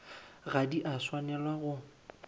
ga di a swanela go